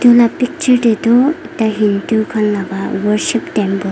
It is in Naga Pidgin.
moi lah picture teh tu ekta hindu khan laga worship temple --